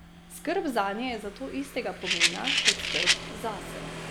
Skrb zanje je zato istega pomena kot skrb zase.